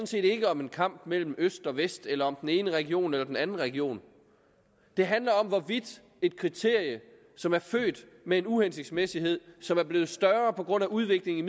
set ikke om en kamp mellem øst og vest eller om den ene region eller den anden region det handler om hvorvidt et kriterium som er født med en uhensigtsmæssighed som er blevet større på grund af udviklingen i